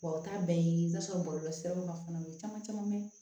Wa u t'a bɛɛ ɲini i t'a sɔrɔ bɔlɔlɔsiraw fana caman bɛ